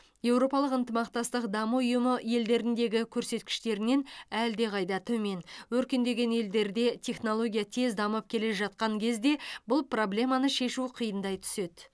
еуропалық ынтымақтастық даму ұйымы елдеріндегі көрсеткіштерінен әлдеқайда төмен өркендеген елдерде технология тез дамып келе жатқан кезде бұл проблеманы шешу қиындай түседі